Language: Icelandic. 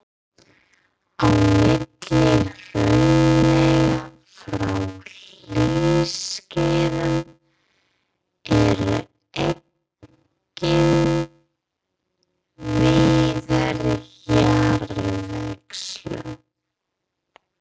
Á milli hraunlaga frá hlýskeiðum eru einnig víða jarðvegslög.